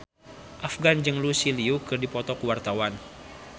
Afgan jeung Lucy Liu keur dipoto ku wartawan